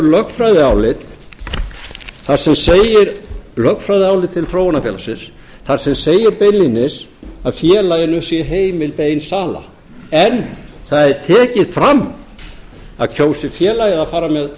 lögfræðiálit þar sem segir lögfræðiálit til þróunarfélagsins þar sem segir beinlínis að félaginu sé heimiluð ein sala en það er tekið fram að kjósi félagið að fara með